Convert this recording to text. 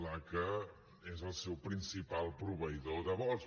la que és el seu principal proveïdor de vols